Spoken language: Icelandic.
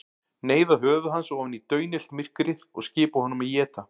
Neyða höfuð hans ofan í daunillt myrkrið og skipa honum að éta.